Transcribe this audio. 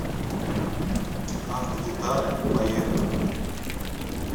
автодетали поехали